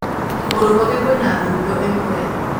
kũgũrũ gwake kwĩna thundo ĩmwe